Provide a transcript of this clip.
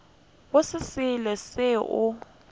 go se selo seo o